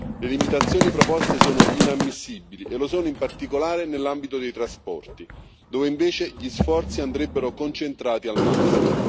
Le limitazioni proposte sono inammissibili e lo sono, in particolare, nell'ambito dei trasporti, dove invece gli sforzi andrebbero concentrati al massimo.